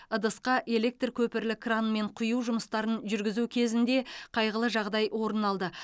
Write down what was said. ыдысқа электр көпірлі кранмен құю жұмыстарын жүргізу кезінде қайғылы жағдай орын алды